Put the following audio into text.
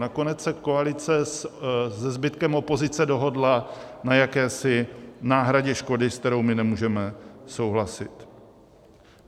Nakonec se koalice se zbytkem opozice dohodla na jakési náhradě škody, s kterou my nemůžeme souhlasit.